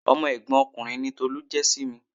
Ọmọ ẹ̀gbọ́n ọkùnrin ni Tolu jẹ́ sí mi.